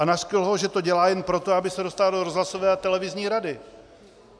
A nařkl ho, že to dělá jen proto, aby se dostal do rozhlasové a televizní rady.